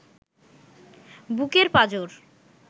বুকের পাঁজর